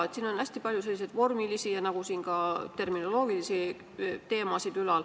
Aga siin on hästi palju vormilisi ja ka terminoloogilisi teemasid ülal.